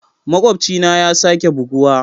Makwabcina ya sake buguwa.